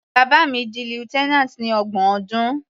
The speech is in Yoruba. Bàbá mi di lieutenant ní ọgbọ̀n ọdún.